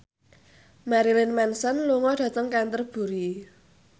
Marilyn Manson lunga dhateng Canterbury